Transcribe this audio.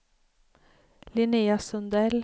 Linnea Sundell